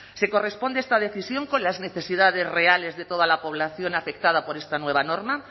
se corresponde esta decisión con las necesidades reales de toda la población afectada por esta nueva norma